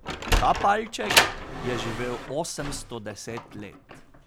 Ta palček je živel osemsto deset let.